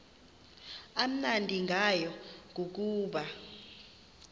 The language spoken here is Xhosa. amnandi ngayo kukuba